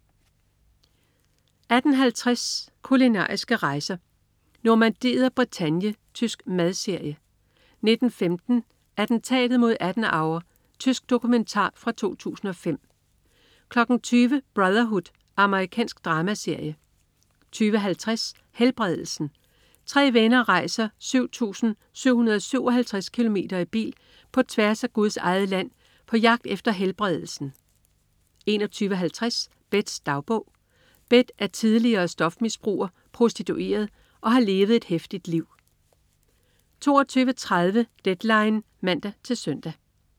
18.50 Kulinariske rejser: Normandiet og Bretagne. Tysk madserie 19.15 Attentatet mod Adenauer. Tysk dokumentar fra 2005 20.00 Brotherhood. Amerikansk dramaserie 20.50 Helbredelsen. Tre venner rejser 7757 km i bil på tværs af Guds Eget Land på jagt efter "Helbredelsen" 21.50 Beths dagbog. Beth er tidligere stofmisbruger, prostitueret og har levet et heftigt liv 22.30 Deadline (man-søn)